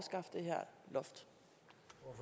hvor